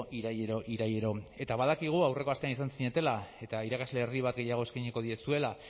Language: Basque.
ireailero irailero eta badakigu aurreko astean izan zinetela eta irakasle erdi bat gehiago eskainiko diezuela